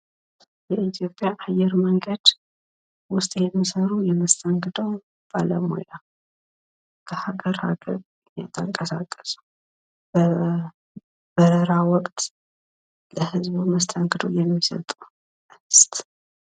በኢትዮጵያ አየር መንገድ ውስጥ የሚሰሩ የመሰተንግዶ ባለሙያ ከሀገር ሀገር እየተንቀሳቀሱ በበረራ ወቅት መስተንግዶ የሚሰጡ።